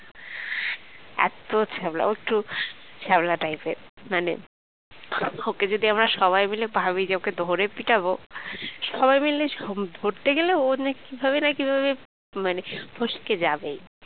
এত ছ্যাবলা প্রচুর ছ্যাবলা type র মানে ওকে যদি আমরা সবাই মিলে ভাবি যে ওকে ধরে পিটাবো সবাই মিলে ধরতে গেলে ও যে কিভাবে না কিভাবে মানে ফসকে যাবেই